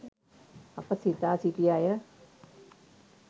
අප සිතා සිටි අය